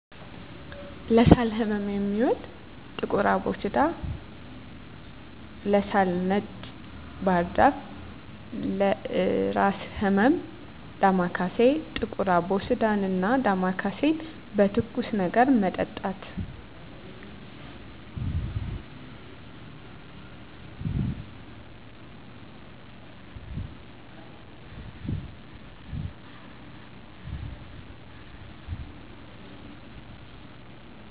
ለሳል ህመም የሚውል ጥቁር አቦሲዳ, ለሳል ነጭ ባህርዛፍ ,ለእራስ ህመም ዳማካሴ። ጥቁር አቦሲዳን እና ዳማካሴን በትኩስ ነገር መጠጣት።